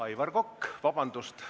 Aivar Kokk, palun!